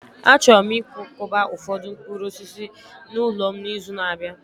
Achọrọ m ịkwakọba ụfọdụ mkpụrụ osisi n'ụlọ m n'izu na-abịa